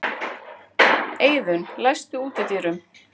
Eiðunn, læstu útidyrunum.